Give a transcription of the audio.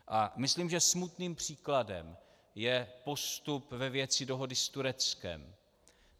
A myslím, že smutným příkladem je postup ve věci dohody s Tureckem.